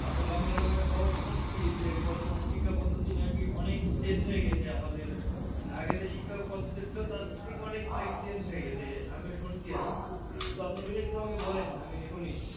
আসলে আমি এরকম একটা খবর শুনছি যে, বর্তমানে শিক্ষা পদ্ধতি নাকি অনেক Change হয়ে গিয়েছে আমাদের। আগে যে শিক্ষা পদ্ধতি ছিল তার থেকে অনেক নাকি Change হয়ে গেছে আমি শুনছি আরকি, তো আপনি যদি আমাকে কিছু বলেন? আমি শুনি।